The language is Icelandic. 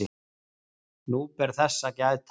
nú ber þess að gæta